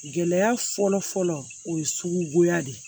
Gɛlɛya fɔlɔfɔlɔ o ye sugugoya de ye